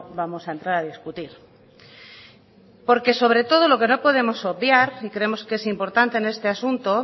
vamos a entrar a discutir porque sobre todo lo que no podemos obviar y creemos que es importante en este asunto